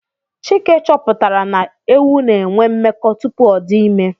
Chike chọpụtara na ewu na enwe mmekọ tupu ọdị ime